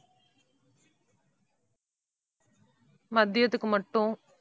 மதியத்துக்கு மட்டும்.